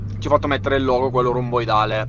чувак материального грубой далее